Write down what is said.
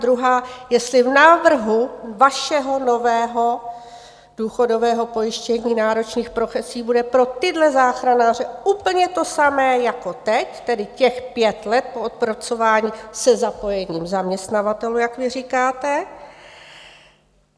Druhá, jestli v návrhu vašeho nového důchodového pojištění náročných profesí bude pro tyhle záchranáře úplně to samé jako teď, tedy těch pět let po odpracování se zapojením zaměstnavatelů, jak vy říkáte.